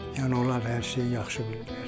Yəni onlar hər şeyi yaxşı bilirlər.